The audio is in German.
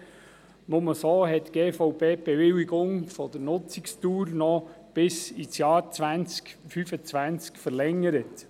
Nur so hat die Gebäudeversicherung Bern (GVB) die Bewilligung für eine Nutzungsdauer bis ins Jahr 2015 verlängert.